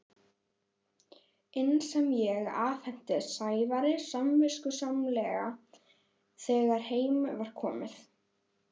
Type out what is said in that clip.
inn sem ég afhenti Sævari samviskusamlega þegar heim var komið.